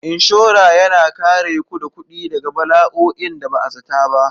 Inshora yana kare ku da kuɗi daga bala'o'in da ba a zata ba.